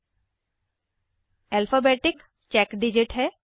आखिरी character alphabetic check digit है